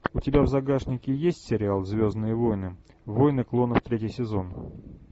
у тебя в загашнике есть сериал звездные войны войны клонов третий сезон